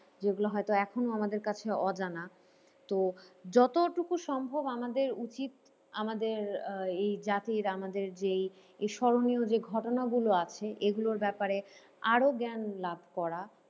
যেগুলো হয়তো এখনো আমাদের কাছে অজানা। তো যতোটুকু সম্ভব আমাদের উচিত আমাদের আহ এই জাতির আমাদের যেই এ স্মরণীয় যে ঘটনাগুলো আছে এগুলোর ব্যাপারে আরও জ্ঞান লাভ করা।